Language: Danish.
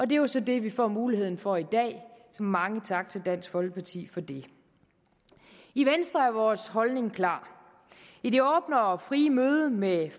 det er jo så det vi får muligheden for i dag så mange tak til dansk folkeparti for det i venstre er vores holdning klar i det åbne og frie møde med